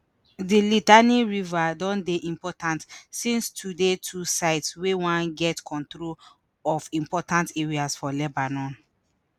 di litani river don dey important since to di two sides wey wan get control of important areas for lebanon